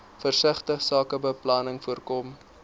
versigtige sakebeplanning voorkom